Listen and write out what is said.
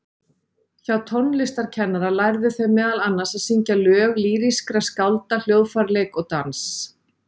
Hjá tónlistarkennara lærðu þau meðal annars að syngja lög lýrískra skálda, hljóðfæraleik og dans.